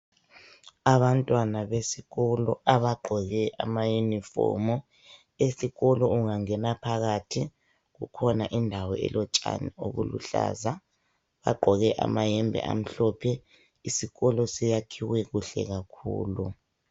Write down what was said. Abantwana besikolo abagqoke amayunifomu. Esikolo ungangena phakathi kukhona indawo elotshani obuluhlaza. Bagqoke amayembe amhlophe. Isikolo siyakhiwe kuhle kakhulu.